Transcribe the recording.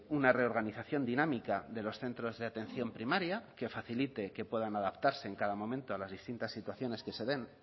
una reorganización dinámica de los centros de atención primaria que facilite que puedan adaptarse en cada momento a las distintas situaciones que se den